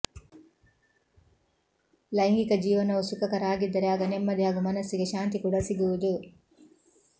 ಲೈಂಗಿಕ ಜೀವನವು ಸುಖಕರ ಆಗಿದ್ದರೆ ಆಗ ನೆಮ್ಮದಿ ಹಾಗೂ ಮನಸ್ಸಿಗೆ ಶಾಂತಿ ಕೂಡ ಸಿಗುವುದು